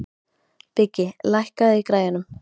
Biggi, lækkaðu í græjunum.